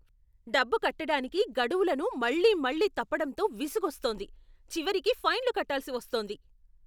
డబ్బు కట్టటానికి గడువులను మళ్ళీ మళ్ళీ తప్పడంతో విసుగొస్తోంది, చివరికి ఫైన్లు కట్టాల్సి వస్తోంది.